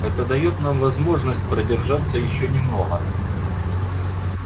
это даёт нам возможность продержаться ещё немного